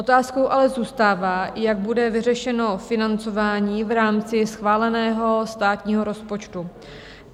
Otázkou ale zůstává, jak bude vyřešeno financování v rámci schváleného státního rozpočtu.